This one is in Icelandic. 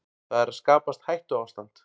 Það er að skapast hættuástand